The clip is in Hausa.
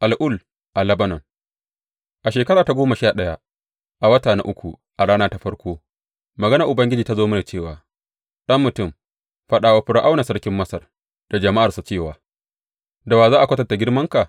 Al’ul a Lebanon A shekara ta goma sha ɗaya, a wata na uku a rana ta farko, maganar Ubangiji ta zo mini cewa, Ɗan mutum, faɗa wa Fir’auna sarkin Masar da jama’arsa cewa, Da wa za a kwatanta girmanka?